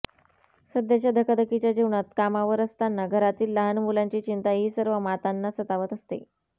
सध्याच्या धकाधकीच्या जीवनात कामावर असताना घरातील लहान मुलांची चिंता ही सर्व मातांना सतावत असते